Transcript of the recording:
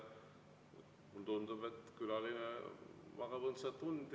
Tundub, et külaline magab õndsat und …